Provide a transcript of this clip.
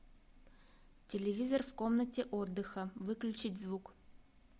телевизор в комнате отдыха выключить звук